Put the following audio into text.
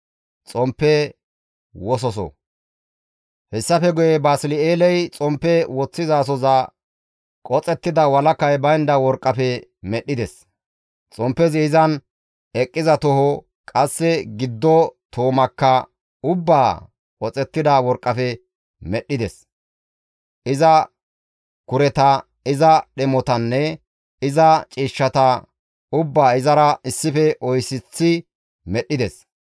Hessafe guye Basli7eeley xomppe woththizasoza qoxettida walakay baynda worqqafe medhdhides; xomppezi izan eqqiza toho, qasse giddo toomaakka ubbaa qoxettida worqqafe medhdhides. Iza kureta, iza dhemotanne iza ciishshata ubbaa izara issife oyseththi medhdhides.